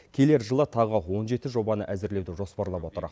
келер жылы тағы он жеті жобаны әзірлеуді жоспарлап отыр